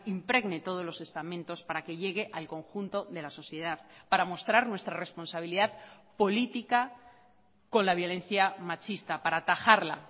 impregne todos los estamentos para que llegue al conjunto de la sociedad para mostrar nuestra responsabilidad política con la violencia machista para atajarla